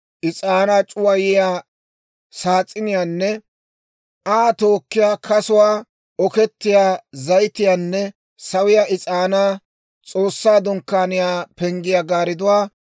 is'aanaa c'uwayiyaa saas'iniyaanne Aa tookkiyaa kasuwaa, okettiyaa zayitiyaanne sawiyaa is'aanaa, S'oossaa Dunkkaaniyaa penggiyaa gaaridduwaa;